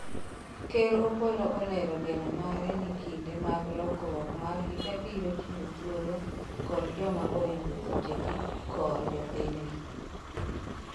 Ker Opolo olero geno mare ni kinde mag lokruok mar higa biro chiwo thuolo kod joma oringo thuchegi kor jopinyno